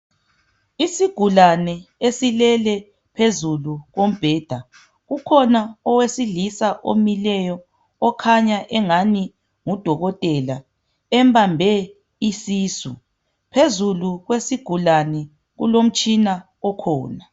Isigulane esilele phezulu kombheda. Ukhona owesilisa omileyo okhanya engani ngudokotela embambe isisu. Phezulu kwesigulane kulomtshina okhona.